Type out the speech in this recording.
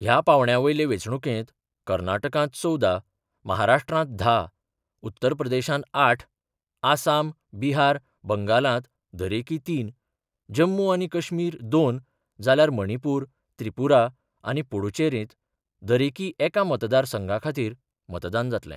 ह्या पांवड्या वयले वेंचणुकेंत कर्नाटकांत चवदा, महाराष्ट्रांत धा, उत्तर प्रदेशांत आठ, आसाम, बिहार, बंगालात दरेकी तीन, जम्मू आनी कश्मीर दोन, जाल्यार मणिपूर, त्रिपुरा आनी पुडुचेरींत दरेकी एका मतदारसंघा खातीर मतदान जातलें.